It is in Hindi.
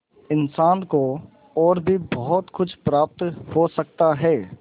इंसान को और भी बहुत कुछ प्राप्त हो सकता है